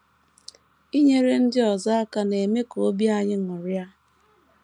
Inyere ndị ọzọ aka na - eme ka obi anyị ṅụrịa.